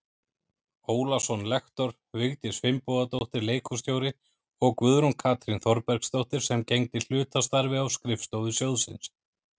Ólason lektor, Vigdís Finnbogadóttir leikhússtjóri og Guðrún Katrín Þorbergsdóttir sem gegndi hlutastarfi á skrifstofu sjóðsins.